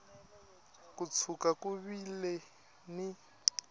ko tshuka ku vile ni